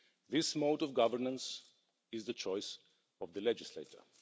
This mode of governance is the choice of the legislator.